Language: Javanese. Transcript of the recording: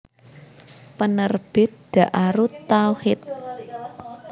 Penerbit Daarut Tauhid